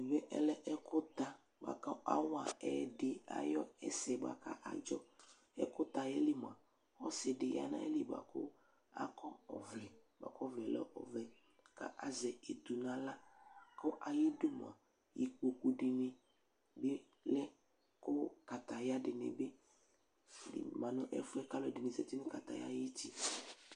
Ɛmɛ ɔlɛ ɛkʋta bʋa kʋ awa ɛyɛdɩ ayʋ ɛsɛ bʋa kʋ adzɔ Ɛkʋta yɛ li mʋa, ɔsɩ dɩ ya nʋ ayili bʋa kʋ akɔ ɔvlɛ bʋa kʋ ɔvlɛ yɛ lɛ ɔvɛ kʋ azɛ etu nʋ aɣla kʋ ayidu mʋa, ikpoku dɩnɩ bɩ lɛ kʋ kataya dɩnɩ bɩ ma nʋ ɛfʋ yɛ kʋ alʋɛdɩnɩ zati nʋ kataya yɛ ayuti